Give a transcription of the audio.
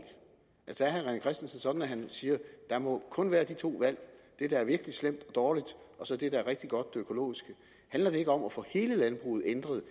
sådan opfattelse at han siger der må kun være de to valg det der er virkelig slemt og dårligt og så det der er rigtig godt det økologiske handler det ikke om at få hele landbruget ændret